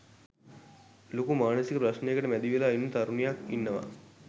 ලොකු මානසික ප්‍රශ්ණයකට මැදිවෙලා ඉන්න තරුණියක් ඉන්නවා.